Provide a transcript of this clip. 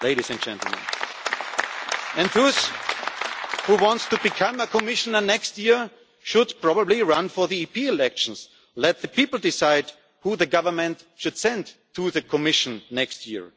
do so. And those who want to become a Commissioner next year should probably run in the European elections. Let the people decide who the government should send to the Commission next